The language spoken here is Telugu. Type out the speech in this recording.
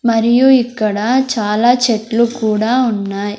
మరియు ఇక్కడ చాలా చెట్లు కూడా ఉన్నాయి.